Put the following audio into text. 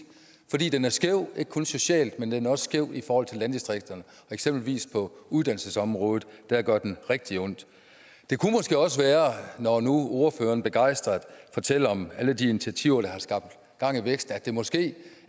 fordi den er skæv ikke kun socialt men den er også skæv i forhold til landdistrikterne og eksempelvis på uddannelsesområdet gør den rigtig ondt det kunne måske også være når nu ordføreren begejstret fortæller om alle de initiativer der har skabt gang i væksten at det måske